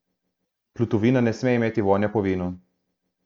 Plutovina ne sme imeti vonja po vinu.